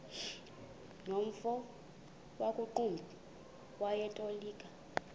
nomfo wakuqumbu owayetolika